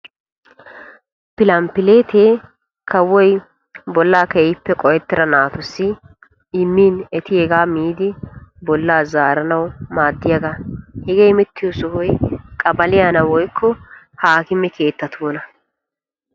Pilanpilleette kawoy bolla qohettidda naatussi immin etti hegaa miiddi bolla zaaranawu maaddiyaga. Hegee immettiyo sohoy qaballiya woykkoa haakkimme keetta.